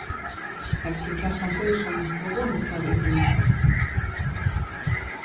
Helgi Kjartan Sigurðsson: Við vonum það í það minnsta?